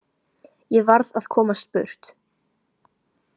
Ég varð að komast burt.